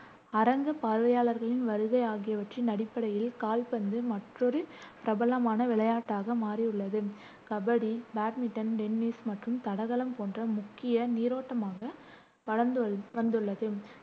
அரங்க பார்வையாளர்களின் வருகை ஆகியவற்றின் அடிப்படையில் கால்பந்து மற்றொரு பிரபலமான விளையாட்டாக மாறியுள்ளது கபடி, பேட்மிண்டன், டென்னிஸ் மற்றும் தடகளம் போன்ற முக்கிய நீரோட்டமாக வளர்ந்து வந்துள்ளது